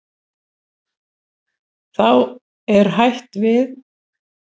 Þá er hætt við.